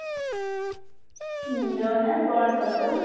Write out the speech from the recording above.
ହଁ ଜଗନ୍ନାଥ ବଳଭଦ୍ର